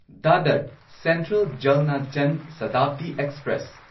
Dadar central Jalna Jan Shatabdi express